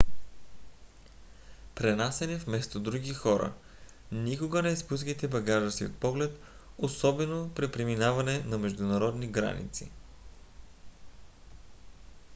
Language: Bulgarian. пренасяне вместо други хора - никога не изпускайте багажа си от поглед особено при преминаване на международни граници